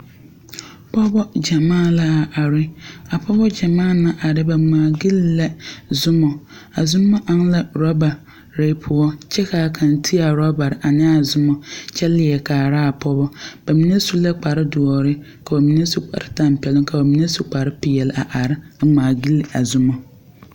Pɔgɔbɔ gyamaa la a are. A pɔgɔbɔ gyamaa na are, ba ŋmaa gyili la zumɔ. A zumɔ eŋ la robare poʊ. Kyɛ ka kang te a robare ane a zumɔ kyɛ liɛ kaara a pɔgɔ. Ba mene su la kpare duore, ka ba mn su kpare tampɛluŋ, ka ba mene su kpare piɛleva are ŋmaa gyili a zumɔ.